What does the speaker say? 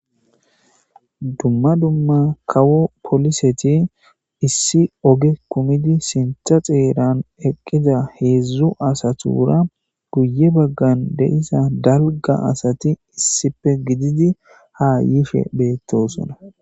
Dumma dumma kawo poliseti issi oge kumidi sintha xeeran eqqiza heedzu asatura guye baggan deisa dalga asati issife gididi ha yife beetosona.